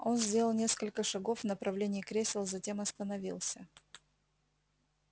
он сделал несколько шагов в направлении кресел затем остановился